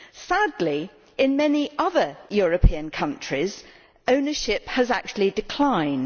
Sadly, in many other European countries, ownership has actually declined.